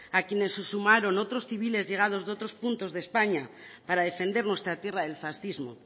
a quienes se sumaron otros civiles llegados de otros puntos de españa para defender nuestra tierra del fascismo